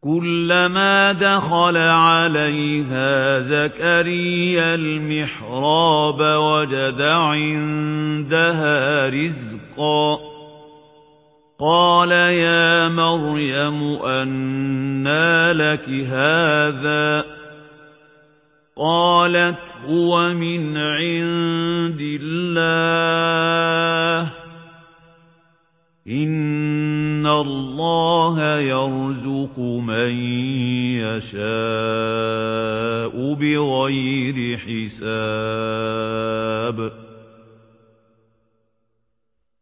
كُلَّمَا دَخَلَ عَلَيْهَا زَكَرِيَّا الْمِحْرَابَ وَجَدَ عِندَهَا رِزْقًا ۖ قَالَ يَا مَرْيَمُ أَنَّىٰ لَكِ هَٰذَا ۖ قَالَتْ هُوَ مِنْ عِندِ اللَّهِ ۖ إِنَّ اللَّهَ يَرْزُقُ مَن يَشَاءُ بِغَيْرِ حِسَابٍ